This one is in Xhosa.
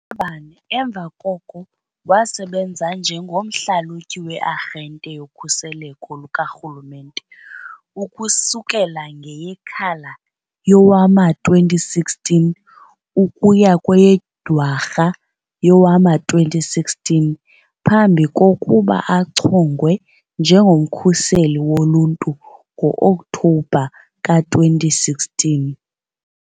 bane emva koko wasebenza njengomhlalutyi we- Arhente yoKhuseleko lukaRhulumente ukusukela ngeyeKhala yowama-2016 ukuya kweyeDwarha yowama-2016 phambi kokuba achongwe njengoMkhuseli Woluntu ngo-Okthobha ka-2016.